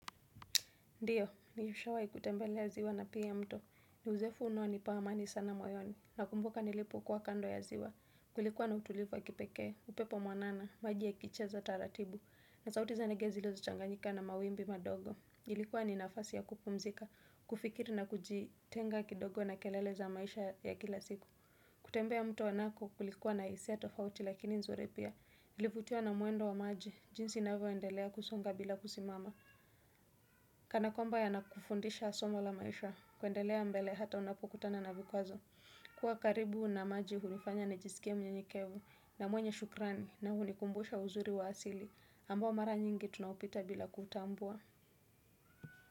Ndiyo, nishawahi kutembelea ziwa na pia mto. Ni uzoefu unaonipa amani sana moyoni. Nakumbuka nilipokuwa kando ya ziwa. Kulikuwa na utulivu kipekee, upepo mwanana, maji ya kicheza taratibu. Na sauti za ndege zilizochanganyika na mawimbi madogo. Ilikuwa ni nafasi ya kupumzika, kufikiri na kujitenga kidogo na kelele ya maisha ya kila siku. Kutembea mto nako kulikuwa na hisia tofauti lakini nzuri pia. Nilivutiwa na mwendo wa maji, jinsi inavyoendelea kusonga bila kusimama. Kana kwamba yanakufundisha somo la maisha, kwendelea mbele hata unapokutana na vikwazo. Kuwa karibu na maji hunifanya nijiskie mnyenyekevu na mwenye shukrani na hunikumbusha uzuri wa asili. Ambao mara nyingi tunaupita bila kutambua.